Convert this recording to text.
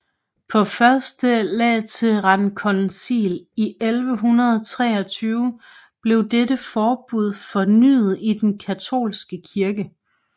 På Første Laterankoncil i 1123 blev dette forbud fornyet i Den katolske kirke